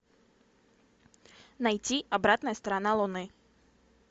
найти обратная сторона луны